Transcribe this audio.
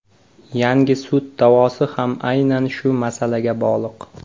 Yangi sud da’vosi ham aynan shu masalaga bog‘liq.